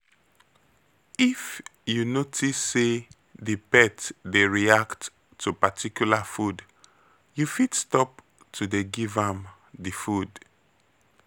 If you notice sey di pet dey react to particular food, you fit stop to dey give am di food